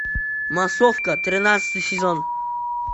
массовка тринадцатый сезон